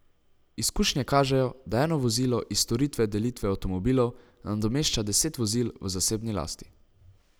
Izkušnje kažejo, da eno vozilo iz storitve delitve avtomobilov nadomešča deset vozil v zasebni lasti.